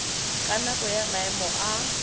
ka nako ya maemo a